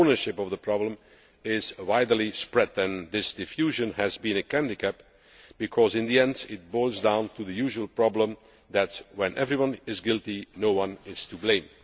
Ownership of the problem is widely spread, and this diffusion has been a handicap, because in the end, it boils down to the usual problem that when everyone is guilty, no one is to blame.